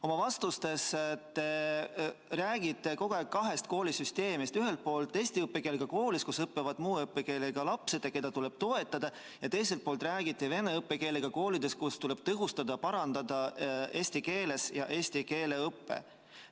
Oma vastustes te räägite kogu aeg kahest koolisüsteemist: ühelt poolt eesti õppekeelega koolist, kus õpivad muu õppekeelega lapsed, keda tuleb toetada, ning teiselt poolt räägite vene õppekeelega koolidest, kus tuleb tõhustada, parandada eesti keeles õpet ja eesti keele õpet.